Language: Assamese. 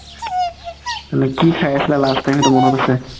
মানে কি খাই আছিলা last time সেইটো মনত আছে